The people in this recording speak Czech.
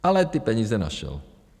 Ale ty peníze našel.